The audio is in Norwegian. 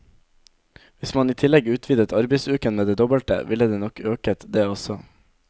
Hvis man i tillegg utvidet arbeidsuken med det dobbelte, ville det nok øket, det også.